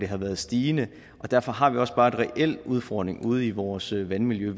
har været stigende og derfor har vi også bare en reel udfordring ude i vores vandmiljø